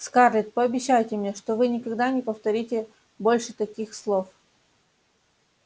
скарлетт пообещайте мне что вы никогда не повторите больше таких слов